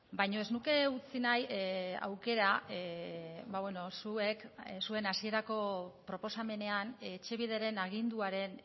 baina ez nuke utzi nahi aukera zuek zuen hasierako proposamenean etxebideren aginduaren